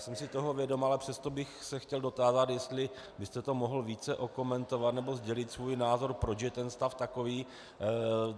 Jsem si toho vědom, ale přesto bych se chtěl dotázat, jestli byste to mohl více okomentovat, nebo sdělit svůj názor, proč je ten stav takový.